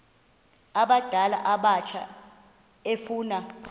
abadala abatsha efuna